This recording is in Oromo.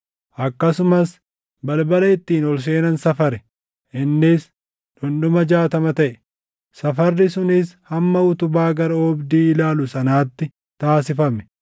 Akkasumas balbala ittiin ol seenan safare; innis dhundhuma jaatama taʼe; safarri sunis hamma utubaa gara oobdii ilaalu sanaatti taasifame.